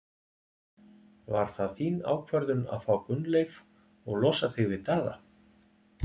Var það þín ákvörðun að fá Gunnleif og losa þig við Daða?